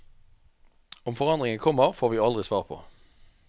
Om forandringen kommer, får vi aldri svar på.